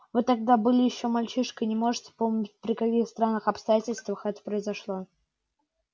вы тогда были ещё мальчишкой и не можете помнить при каких странных обстоятельствах это произошло